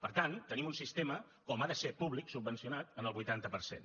per tant tenim un sistema com ha de ser públic subvencionat en el vuitanta per cent